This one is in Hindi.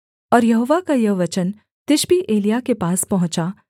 और यहोवा का यह वचन तिशबी एलिय्याह के पास पहुँचा